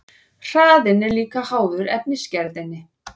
Hraðinn er líka háður efnisgerðinni.